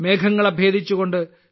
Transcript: മേഘങ്ങളെ ഭേദിച്ചുകൊണ്ട്